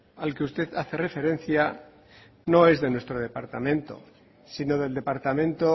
al que usted hace referencia no es de nuestro departamento sino del departamento